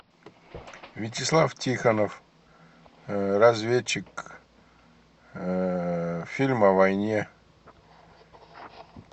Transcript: вячеслав тихонов разведчик фильм о войне